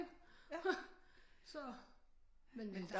Så men men